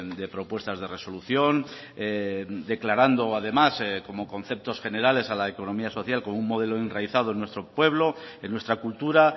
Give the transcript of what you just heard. de propuestas de resolución declarando además como conceptos generales a la economía social como un modelo enraizado en nuestro pueblo en nuestra cultura